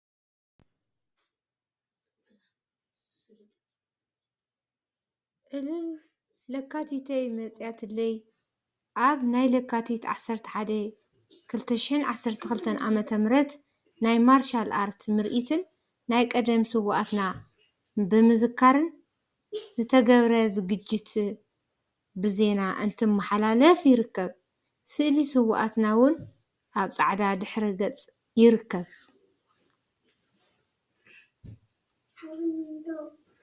ዕልል… ለካቲተይ መፂአትለይ አብ ናይ ለካቲት 11/2012 ዓ/ም ናይ ማርሻል አርት ምርኢትን ናይ ቀደም ስውአትና ብምዝካርን ዝተገበረ ዝግጅት ብዜና እናተመሓላለፈ ይርከብ፡፡ ስእሊ እውአትና እውን አብ ፃዕዳ ድሕረ ገፅ ይርከብ፡፡